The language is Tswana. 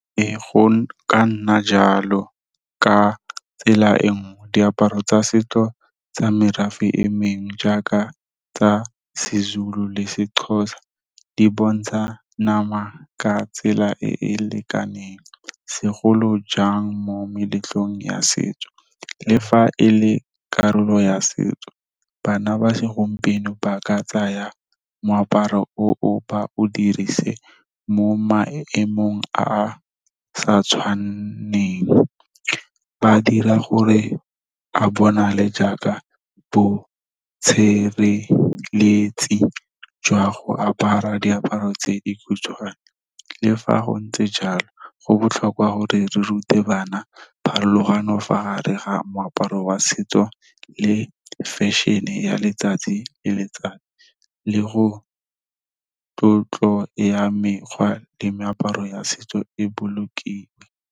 Ee, go ka nna jalo ka tsela e nngwe, diaparo tsa setso tsa merafe e mengwe jaaka tsa seZulu le seXhosa, di bontsha nama ka tsela e e lekaneng. Segolo jang mo meletlong ya setso le fa e le karolo ya setso bana ba segompieno, ba ka tsaya moaparo o o ba o dirise mo maemong a a sa tshwaneng. Ba dira gore a bonale jaaka bo jwa go apara diaparo tse dikhutshwane, le fa go ntse jalo go botlhokwa gore re rute bana pharologano fa gare ga moaparo wa setso le fashion-e ya letsatsi le letsatsi. Le go tlotlo ya mekgwa le meaparo ya setso e bolokile.